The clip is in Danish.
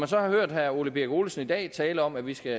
så har hørt herre ole birk olesen i dag tale om at vi skal